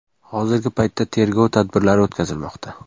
Hozirgi paytda tergov tadbirlari o‘tkazilmoqda.